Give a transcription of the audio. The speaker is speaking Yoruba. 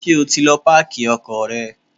Ṣé o ti lọ páàkì ọkọ̀ rẹ?